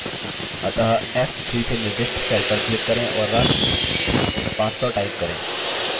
अतः f3 से निर्दिष्ट cell पर click करें और राशि 500 type करें